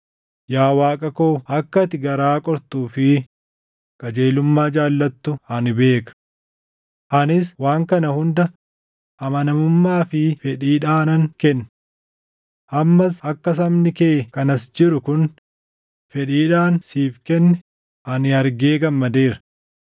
Yaa Waaqa koo akka ati garaa qortuu fi qajeelummaa jaallattu ani beeka. Anis waan kana hunda amanamummaa fi fedhiidhaanan kenne. Ammas akka sabni kee kan as jiru kun fedhiidhaan siif kenne ani argee gammadeera.